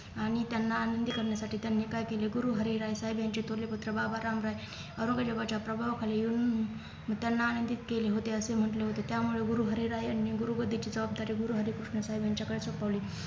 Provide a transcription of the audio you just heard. आणि त्यांना आनंदी करण्यासाठी त्यांनी काय केले गुरुहरीराय यांचे थोरले पुत्र बाबाराम राय औरंगजेबाच्या प्रभावाखाली येऊन त्यांना आनंदित केले होते असे म्हंटले होते त्यामुळे गुरुहरीराय यांनी गुरु गादीची जबाबदारी गुरुहरिकृष्ण साहेब यांच्याकडे सोपवली